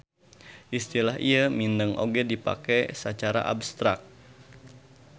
Istilah ieu mindeng oge dipake sacara abstrak.